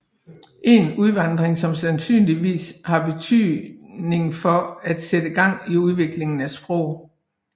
En udvandring som sandsynligvis have betydning for at sætte gang i udviklingen af sprog